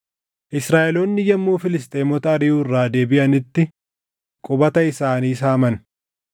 Israaʼeloonni yommuu Filisxeemota ariʼuu irraa deebiʼanitti qubata isaanii saaman.